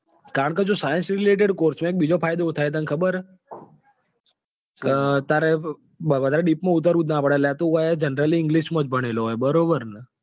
કારણ કે જો scincerelated course નો એક બીજો ફાયદો શું થાય એ તને ખબે છે. કે તારે deep માં ઉતરવું જ નાં પડે એટલે તું અહી એ generallyenglish માં જ ભણેલો હોય બરોબર ને?